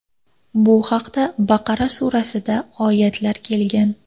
Bu haqda Baqara surasida oyatlar kelgan.